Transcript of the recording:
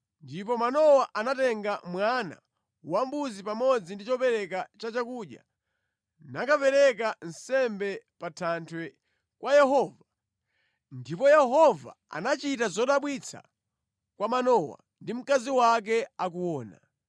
Ndipo Manowa anatenga mwana wambuzi pamodzi ndi chopereka cha chakudya nakapereka nsembe pa thanthwe kwa Yehova ndipo Yehova anachita zodabwitsa kwa Manowa ndi mkazi wake akuona.